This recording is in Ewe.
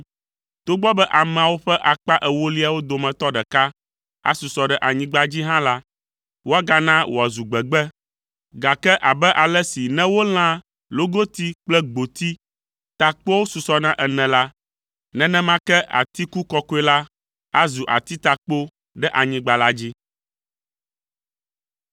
Togbɔ be ameawo ƒe akpa ewoliawo dometɔ ɖeka asusɔ ɖe anyigba dzi hã la, woagana wòazu gbegbe, gake abe ale si ne wolã logoti kple gboti, takpoawo susɔna ene la, nenema ke atiku kɔkɔe la azu atitakpo ɖe anyigba la dzi.”